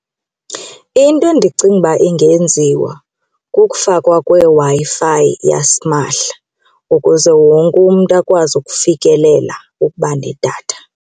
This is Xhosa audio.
Into endicinga ukuba ingenziwa kukufakwa kweWi-Fi yasimahla ukuze wonke umntu akwazi ukufikelela ukubanedatha.